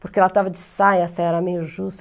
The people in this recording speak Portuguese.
Porque ela estava de saia, a saia era meio justa.